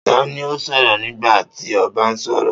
Ta ni ó sọ̀rọ̀ nígbà tí ọba ń sọ̀rọ̀?